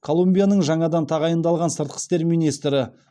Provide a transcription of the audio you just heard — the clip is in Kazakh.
колумбияның жаңадан тағайындалған сыртқы істер министрі